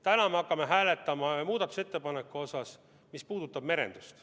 Täna me hakkame hääletama muudatusettepanekut, mis puudutab merendust.